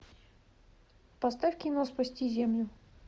поставь кино спасти землю